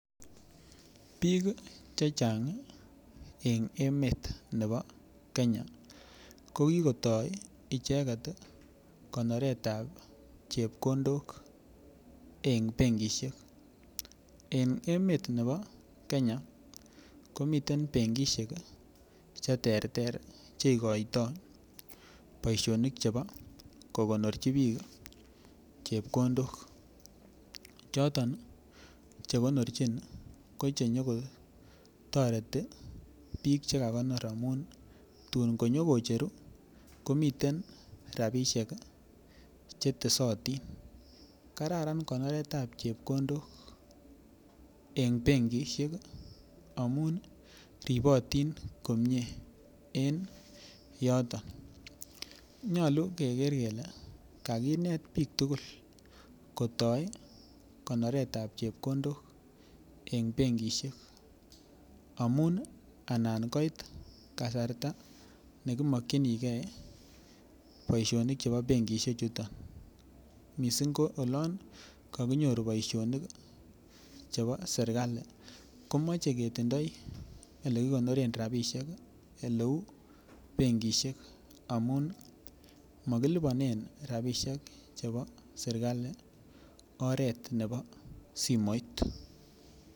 Biik chechang' en emet nebo Kenya kokikotoi icheget konoretab chepkondok eng' benkishek en emet nebo Kenya komiten benkishek cheterter cheikoitoi boishonik chebo kokonorchi biik chepkondok choton chekonorchin ko chenyikotoreti chekakonor amun tuun konyikocheru komiten rabishek chetesotin kararan konoretab chepkondok eng' benkishek amun ripotin komyee en yoton nyolu keker kele kakinet biik tugul kotoi konoretab chepkondok eng' benkishek amun anan koit kasarta nekimokchingei boishonik chebo benkishek chuto mising' ko olon kakinyoru boishonik chebo serikali komochei kotindoi ole kokonoren rabishek ole uu benkishek amun makilipanen rabishek chebo serikali oret nebo simoit